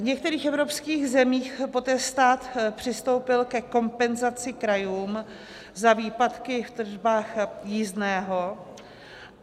V některých evropských zemích poté stát přistoupil ke kompenzaci krajům za výpadky v tržbách jízdného.